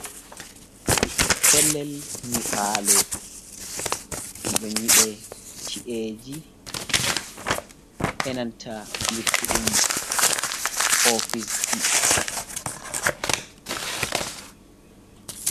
Pellel nyiɓaalo, ɗum ɗon nyiɓe ci'eji, e nanta luttuɗum ofisji.